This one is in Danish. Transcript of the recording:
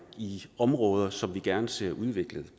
i områder som vi gerne ser udviklet